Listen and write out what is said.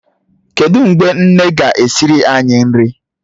Kedụ mgbe nne ga-esiri anyị nri?